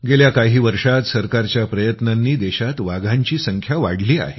गेल्या काही वर्षात सरकारच्या प्रयत्नांनी देशात वाघांची संख्या वाढली आहे